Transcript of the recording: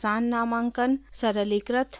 आसान नामांकन: सरलीकृत प्रस्ताव पत्र पर आधारित नामांकन